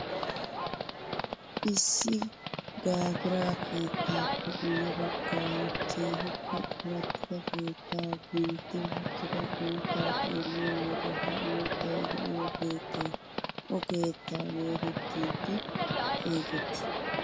Issi jagiira kettaappe guye baggaara keehippe corattidi keettaa gentti wottida uuttaa xeelliyoo wode ha uuttay de'iyoo keettay o keettaa geetettidi xeegettii?